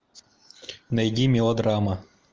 найди мелодрама